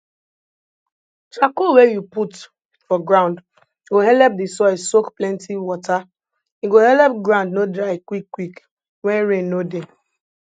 charcoal wen you put for ground go helep di soil soak plenti wata e go helep ground no dry quick quick wen rain no dey